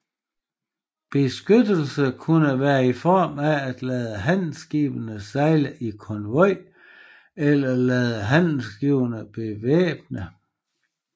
Beskyttelse kunne være i form af at lade handelsskibene sejle i konvoj eller lade handelsskibene bevæbne